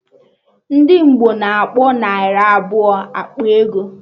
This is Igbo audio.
Ndị Ngbo na-akpọ narị abụọ ekpe ego